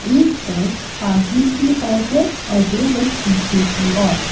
एक बस आगे की ओर है और दो बस पीछे की ओर।